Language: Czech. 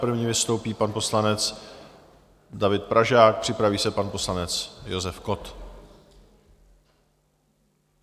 První vystoupí pan poslanec David Pražák, připraví se pak poslanec Josef Kott.